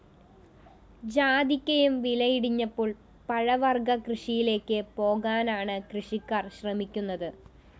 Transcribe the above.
ജാതിക്കയും വില ഇടിഞ്ഞപ്പോള്‍ പഴവര്‍ഗ്ഗ കൃഷിയിലേക്ക് പോകാനാണ് കൃഷിക്കാര്‍ ശ്രമിക്കുന്നത്